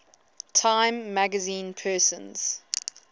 time magazine persons